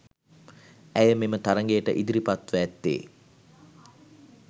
ඇය මෙම තරගයට ඉදිරිපත්වී ඇත්තේ